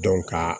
ka